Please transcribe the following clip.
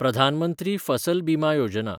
प्रधान मंत्री फसल बिमा योजना